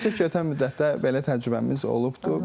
Təəssüf ki, ötən müddətdə belə təcrübəmiz olubdur.